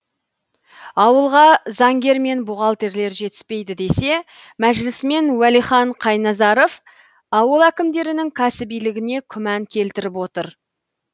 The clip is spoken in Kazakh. ауылға заңгер мен бухгалтерлер жетіспейді десе мәжілісмен уәлихан қайназаров ауыл әкімдерінің кәсібилігіне күмән келтіріп отыр